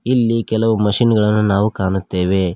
ಇಲ್ಲಿ ಕೆಲವು ಮಷೀನ್ ಗಳನ್ನ ನಾವು ಕಾಣುತ್ತೇವೆ.